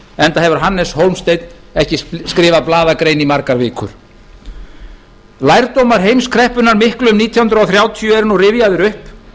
enda hefur hannes hólmsteinn ekki skrifað blaðagrein í margar vikur lærdómar heimskreppunnar miklu um nítján hundruð þrjátíu eru nú rifjaðir upp